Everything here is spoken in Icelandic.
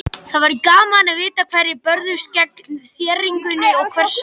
Það væri gaman að vita hverjir börðust gegn þéringunni og hvers vegna.